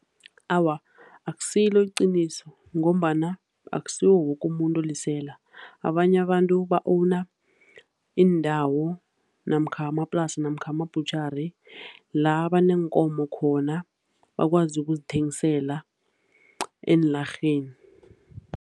Awa, akusilo iqiniso ngombana akusiwo woke umuntu olisela, abanye abantu ba-owner iindawo namkha amaplasi namkha ama-butchery la baneenkomo khona, bakwazi ukuzithengisela eenlarheni.